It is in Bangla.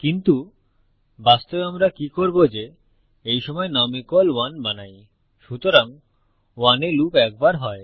কিন্তু বাস্তবে আমরা কি করব যে এই সময় নুম 1 বানাই সুতরাং 1 এ লুপ একবার হয়